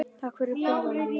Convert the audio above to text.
Þetta er bíllinn minn